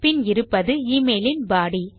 பின் இருப்பது எமெயில் இன் பாடி